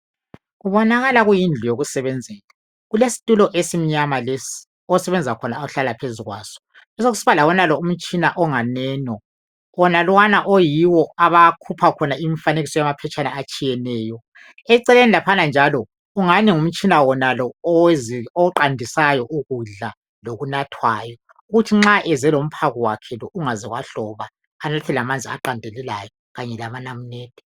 kubonakala kuyindlu yokusebenzela kulesitulo esimnyama lesi osebenza khona ahlala phezu kwaso kube sekusiba lawonalo umtshina onganeno wonalwana oyiwo abakhupha khona umfanekiso wamaphetshana atshiyeneyo eceleni laphana njalo kungani ngumtshina wonalo oqandisayo ukudla lokunathwayo kuthi nxa eze lomphako wakhe ungaze wahloba ebe elamanzi aqandelelayo abe lamunamunede